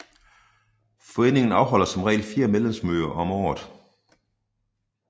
Foreningen afholder som regel fire medlemsmøder om året